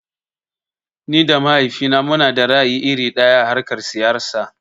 Ni da mahaifina munada ra'ayi iri ɗaya a harkar siyasa.